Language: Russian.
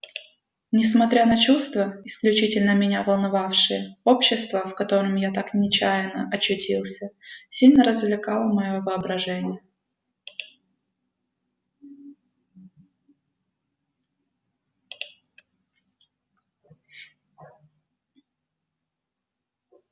несмотря на чувства исключительно меня волновавшие общество в котором я так нечаянно очутился сильно развлекало моё воображение